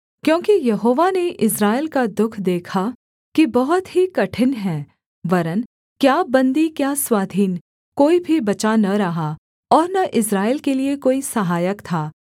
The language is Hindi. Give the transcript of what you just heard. क्योंकि यहोवा ने इस्राएल का दुःख देखा कि बहुत ही कठिन है वरन् क्या बन्दी क्या स्वाधीन कोई भी बचा न रहा और न इस्राएल के लिये कोई सहायक था